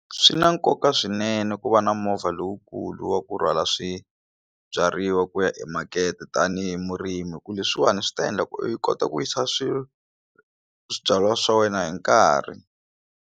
Swi na nkoka swinene ku va na movha lowukulu wa ku rhwala swibyariwa ku ya emakete tanihi murimi ku leswiwani swi ta endla ku i kota ku yisa swibyariwa swa wena hi nkarhi.